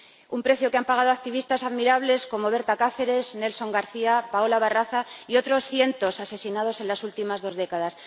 Un precio que han pagado activistas admirables como Berta Cáceres, Nelson García, Paola Barraza y otros cientos asesinados en las últimas dos décadas.